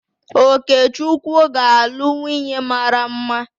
Okechukwu ga-alụ nwunye mara mma